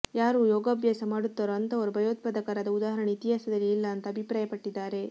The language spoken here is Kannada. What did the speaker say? ಯಾರು ಯೋಗಾಭ್ಯಾಸ ಮಾಡುತ್ತಾರೋ ಅಂಥವರು ಭಯೋತ್ಪಾದಕರಾದ ಉದಾಹರಣೆ ಇತಿಹಾಸದಲ್ಲೇ ಇಲ್ಲ ಅಂತಾ ಅಭಿಪ್ರಾಯಪಟ್ಟಿದ್ದಾರೆ